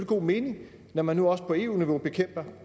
god mening når man nu også på eu niveau bekæmper